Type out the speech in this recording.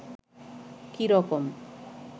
কী রকম